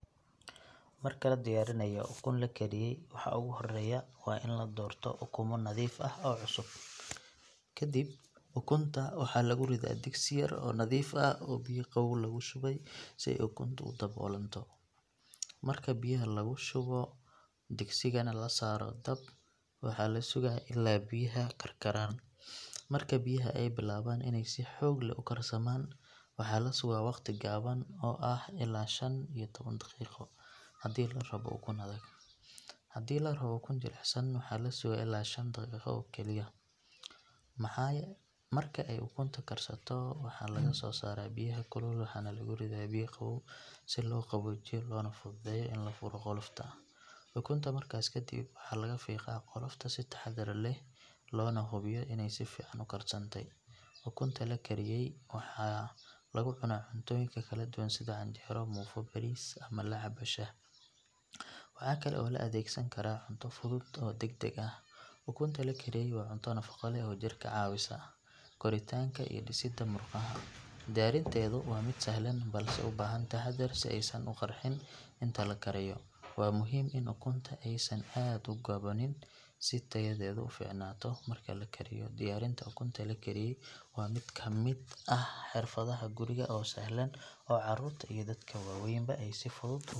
Marka la diyaarinayo ukun la kariyey waxa ugu horreeya waa in la doorto ukumo nadiif ah oo cusub. Kadib ukunta waxaa lagu ridaa digsi yar oo nadiif ah oo biyo qabow lagu shubay si ay ukuntu u daboolanto. Marka biyaha la shubo digsigana la saaro dab, waxaa la sugaa ilaa biyuhu karkaraan. Marka biyaha ay bilaabaan inay si xoog leh u karsamaan waxaa la sugaa waqti gaaban oo ah ilaa shan iyo toban daqiiqo haddii la rabo ukun adag. Haddii la rabo ukun jilicsan waxaa la sugaa ilaa shan daqiiqo kaliya. Marka ay ukunta karsato waxaa laga soo saaraa biyaha kulul waxaana lagu ridaa biyo qabow si loo qaboojiyo loona fududeeyo in la furo qolofta. Ukunta markaas kadib waxaa laga fiiqaa qolofta si taxaddar leh loona hubiyo inay si fiican u karsantay. Ukunta la kariyey waxaa lagu cunaa cuntooyinka kala duwan sida canjeero, muufo, bariis ama la cabbo shaah. Waxa kale oo loo adeegsan karaa cunto fudud oo degdeg ah. Ukunta la kariyey waa cunto nafaqo leh oo jirka ka caawisa koritaanka iyo dhisidda murqaha. Diyaarinteedu waa mid sahlan balse u baahan taxaddar si aysan u qarxin inta la karayo. Waa muhiim in ukunta aysan aad u gaboobin si tayadoodu u fiicnaato marka la kariyo. Diyaarinta ukunta la kariyey waa mid ka mid ah xirfadaha guriga oo sahlan oo carruurta iyo dadka waaweynba ay si fudud .